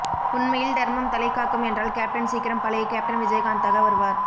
உண்மையில் தர்மம் தலை காக்கும் என்றால் கேப்டன் சீக்கிரம் பழைய கேப்டன் விஜயகாந்த் தாக வருவார்